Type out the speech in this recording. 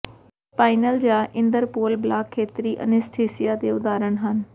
spinal ਜਾਂ ਇਦਰਪੁਅਲ block ਖੇਤਰੀ ਅਨੱਸਥੀਸੀਆ ਦੇ ਉਦਾਹਰਣ ਹਨ